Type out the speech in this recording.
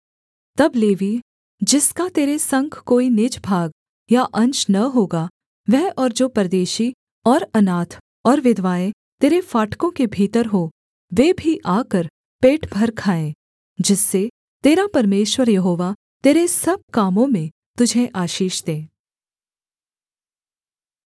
तब लेवीय जिसका तेरे संग कोई निज भाग या अंश न होगा वह और जो परदेशी और अनाथ और विधवाएँ तेरे फाटकों के भीतर हों वे भी आकर पेट भर खाएँ जिससे तेरा परमेश्वर यहोवा तेरे सब कामों में तुझे आशीष दे